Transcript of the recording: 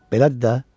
Belədir də.